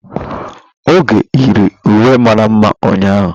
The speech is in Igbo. Oge yiri uwe mara mma ụnyahụ.